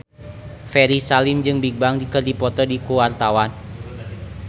Ferry Salim jeung Bigbang keur dipoto ku wartawan